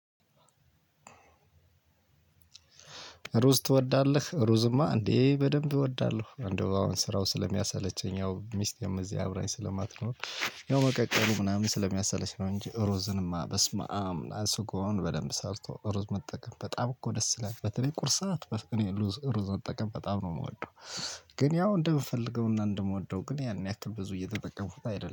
ሩዝ ትወዳለህ ሩዝማ እንዴ? በደንብ እወዳለሁ እንደው አሁን ስራው ስለሚያሰለቸኝ ያው ሚስቴም እዚህ አብራኝ ስለማትኖር። ያው በቃ ቀኑ ምናምን ስለሚያሰለች ነው እንጂ ሩዝንማ በስመአም ስጎውን በደምብ ሰርቶ ሩዝ መጠቀም በጣምኮ ደስ ይላል በተለይ ቁርስ ሰዓት በፍቅኔ ሩዝ ሩዝ መጠቀም በጣም ነው የምወደው። ግን ያው እንደምፈልገውና እንደምወደው ግን ያን ያክል ብዙ እየተጠቀምኩት አይደለም